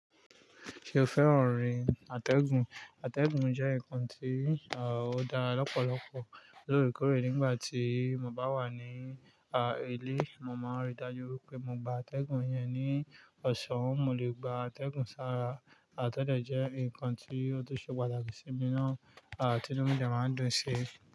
Ṣé o fẹ́ràn rìn atẹ́gùn? Atẹ́gùn jẹ́ nǹkan tí ó dára lọ́pọ̀lọpọ̀. Lórekórè, nígbà tí mo bá wà ní a, ilé, mo máa rí i dájú pé mo gba atẹ́gùn yẹn ní ọ̀sán. Mo lè gba atẹ́gùn sára, à tọ̀dẹ jẹ́ nǹkan tí ó tún ṣe pàtàkì sí mi náà, à tí inu mi de máa ń dún un ṣi.